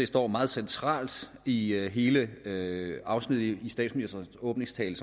står meget centralt i hele afsnittet i statsministerens åbningstale